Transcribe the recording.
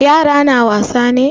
Yara na wasa ne?